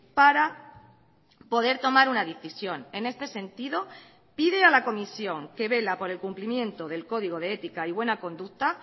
para poder tomar una decisión en este sentido pide a la comisión que vela por el cumplimiento del código de ética y buena conducta